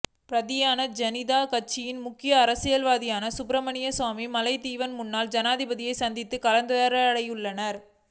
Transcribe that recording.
பாரதீய ஜனதா கட்சியின் முக்கிய அரசியல்வாதியான சுப்ரமணியன் சுவாமி மாலைத்தீவின் முன்னாள் ஜனாதிபதியை சந்தித்து கலந்துரைடியுள்ளார்